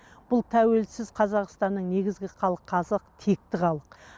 бұл тәуелсіз қазақстанның негізгі халқы қазақ текті халық